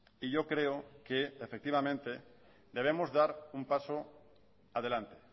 y yo creo que efectivamente debemos dar un paso adelante